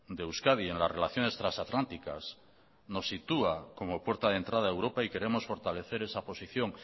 de euskadi en las relaciones transatlánticas nos sitúa como puerta de entrada a europa y queremos fortalecer esa posición